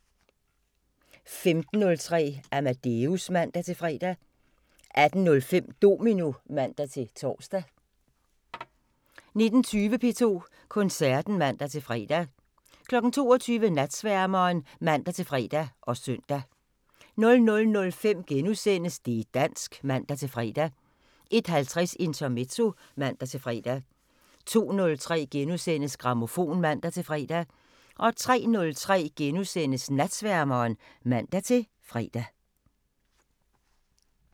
15:03: Amadeus (man-fre) 18:05: Domino (man-tor) 19:20: P2 Koncerten (man-fre) 22:00: Natsværmeren (man-fre og søn) 00:05: Det' dansk *(man-fre) 01:50: Intermezzo (man-fre) 02:03: Grammofon *(man-fre) 03:03: Natsværmeren *(man-fre)